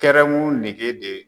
Kɛrɛmu nege de